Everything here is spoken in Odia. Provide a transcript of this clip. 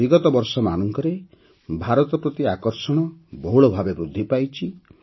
ବିଗତ ବର୍ଷମାନଙ୍କରେ ଭାରତ ପ୍ରତି ଆକର୍ଷଣ ବହୁଳ ଭାବେ ବୃଦ୍ଧି ପାଇଛି